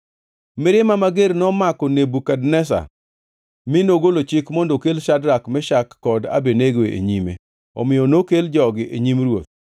Mirima mager nomako Nebukadneza mi nogolo chik mondo okel Shadrak, Meshak kod Abednego e nyime. Omiyo nokel jogi e nyim ruoth,